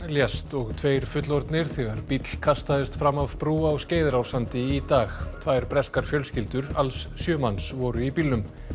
lést og tveir fullorðnir þegar bíll kastaðist fram af brú á Skeiðarársandi í dag tvær breskar fjölskyldur alls sjö manns voru í bílnum